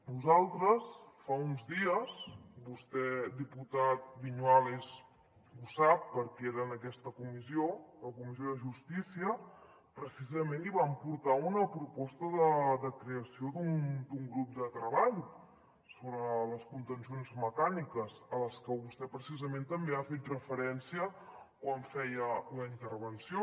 nosaltres fa uns dies vostè diputat viñuales ho sap perquè era en aquesta comissió a la comissió de justícia precisament li vam portar una proposta de creació d’un grup de treball sobre les contencions mecàniques a les que vostè precisament també ha fet referència quan feia la intervenció